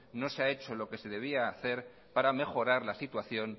no se ha hecho lo que se debía hacer para mejorar la situación